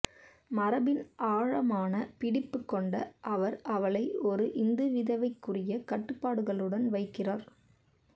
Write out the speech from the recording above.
மரபின் ஆழமான பிடிப்பு கொண்ட அவர் அவளை ஒரு இந்துவிதவைக்குரிய கட்டுப்பாடுகளுடன் வைக்கிறார்